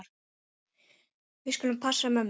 Við skulum passa mömmu.